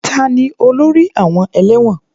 Ta ni olórí àwọn ẹlẹ́wọ̀n?